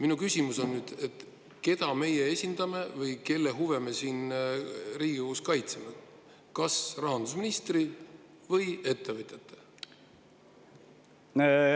Minu küsimus on nüüd selline: keda meie esindame või kelle huve me siin Riigikogus kaitseme – kas rahandusministri või ettevõtjate?